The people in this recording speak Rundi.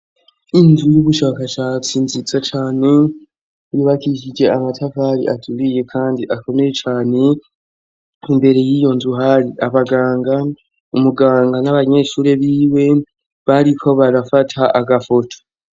Inzu y'ubushakashatsi nziza cane yubakishije amatafari aturiye kandi akomeye cane, imbere y'iyo nzu hari abaganga, umuganga n'abanyeshure biwe bariko barafata agafoto.